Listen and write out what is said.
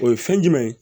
O ye fɛn jumɛn ye